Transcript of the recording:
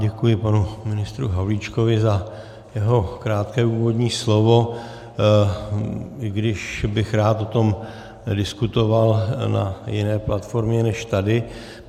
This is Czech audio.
Děkuji panu ministru Havlíčkovi za jeho krátké úvodní slovo, i když bych rád o tom diskutoval na jiné platformě než tady.